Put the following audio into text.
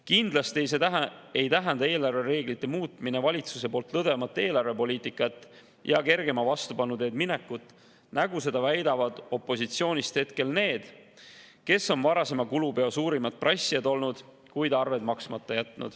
Kindlasti ei tähenda eelarvereeglite muutmine valitsuse poolt lõdvemat eelarvepoliitikat ja kergema vastupanu teed minekut, nagu väidavad praegu opositsioonist need, kes on olnud varasema kulupeo suurimad prassijad, kuid jätnud arved maksmata.